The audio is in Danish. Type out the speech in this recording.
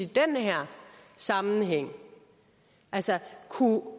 den her sammenhæng kunne